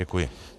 Děkuji.